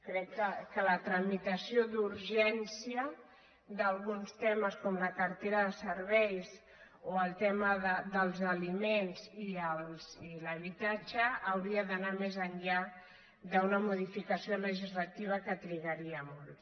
crec que la tramitació d’urgència d’alguns temes com la cartera de serveis o el tema dels aliments i l’habitatge hauria d’anar més enllà d’una modificació legislativa que trigaria molt